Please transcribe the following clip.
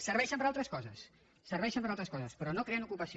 serveixen per a altres coses serveixen per a altres coses però no creen ocupació